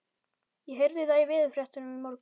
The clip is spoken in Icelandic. Ég heyrði það í veðurfréttunum í morgun.